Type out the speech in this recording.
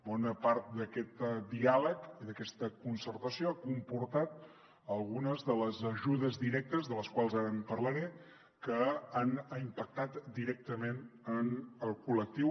bona part d’aquest diàleg i d’aquesta concertació ha comportat algunes de les ajudes directes de les quals ara en parlaré que han impactat directament en el col·lectiu